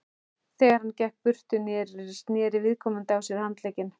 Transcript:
Þegar hann gekk burtu, neri viðkomandi á sér handlegginn.